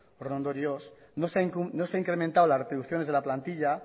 horren ondorioz no se ha incrementado las retribuciones de la plantilla